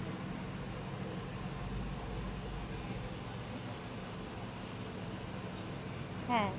হ্যা